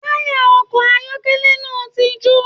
Taya ọkọ ayọkẹlẹ náà tí jo.